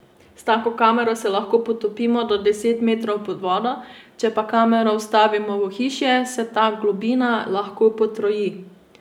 S tako kamero se lahko potopimo do deset metrov pod vodo, če pa kamero vstavimo v ohišje, se ta globina lahko potroji.